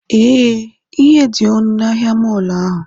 Ee, ihe dị ọnụ na ahịa mọọlụ ahụ